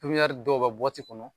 dɔw bɛ bɔti kɔnɔ.